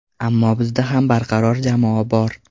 Ammo bizda ham barqaror jamoa bor.